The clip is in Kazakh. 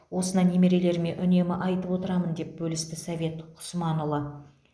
осына немерелеріме үнемі айтып отырамын деп бөлісті совет құсманұлы